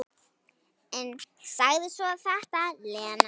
En sagði svo þetta, Lena.